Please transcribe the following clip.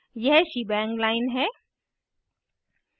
यह shebang line है